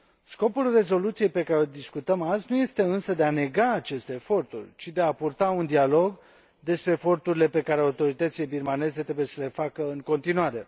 Scopul rezoluției pe care o discutăm azi nu este însă de a nega aceste eforturi, ci de a purta un dialog despre eforturile pe care autoritățile birmane trebuie să le facă în continuare.